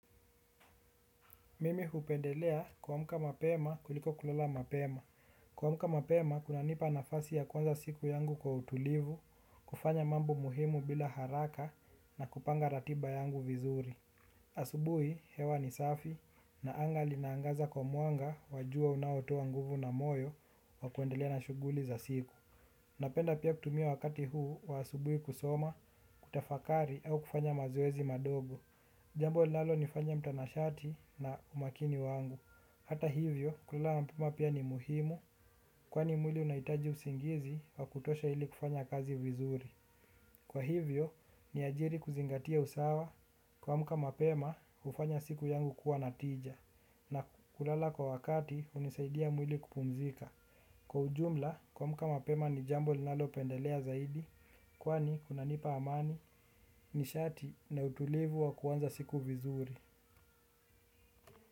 Mimi hupendelea kuamka mapema kuliko kulala mapema. Kuamka mapema, kunanipa nafasi ya kuanza siku yangu kwa utulivu, kufanya mambo muhimu bila haraka na kupanga ratiba yangu vizuri. Asubuhi, hewa ni safi na anga linaangaza kwa mwanga wa jua unaotoa nguvu na moyo wa kuendelea wa shughuli za siku. Napenda pia kutumia wakati huu wa asubuhi kusoma, kutafakari au kufanya mazoezi madogo. Jambo linalonifanya mtanashati na umakini wangu hata hivyo kulala mapema pia ni muhimu. Kwani mwili unahitaji usingizi wa kutosha ili kufanya kazi vizuri. Kwa hivyo niajiri kuzingatia usawa. Kuamka mapema hufanya siku yangu kuwa na tija. Na kulala kwa wakati hunisaidia mwili kupumzika. Kwa ujumla kuamka mapema ni jambo linalopendelea zaidi. Kwani kunanipa amani nishati na utulivu wa kuanza siku vizuri.